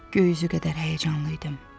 Göy üzü qədər həyəcanlı idim.